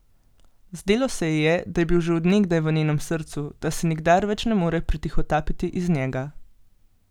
Zdelo se ji je, da je bil že od nekdaj v njenem srcu, da se nikdar več ne more pretihotapiti iz njega.